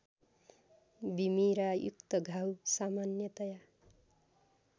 बिमिरायुक्त घाउ सामान्यतया